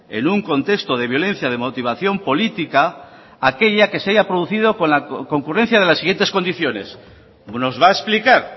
en un contexto de violencia de motivación política aquella que se haya producido con la concurrencia de las siguientes condiciones nos va a explicar